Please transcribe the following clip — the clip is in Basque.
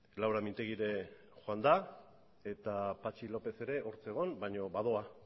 laura mintegui ere joan da eta patxi lópez ere hor zegoen baino badoa